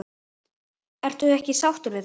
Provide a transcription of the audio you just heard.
Ertu ekki sáttur við það?